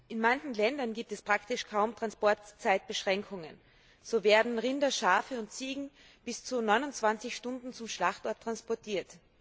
In manchen Ländern gibt es praktisch kaum Transportzeitbeschränkungen. So werden Rinder, Schafe und Ziegen bis zu 29 Stunden zum Schlachtort transportiert.